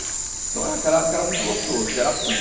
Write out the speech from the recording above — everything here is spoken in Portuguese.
Então naquela época era muito gostoso, porque era assim.